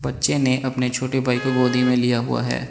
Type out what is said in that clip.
बच्चे ने अपने छोटे भाई को गोदी में लिया हुआ है।